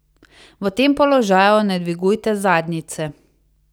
V tem položaju ne dvigujte zadnjice.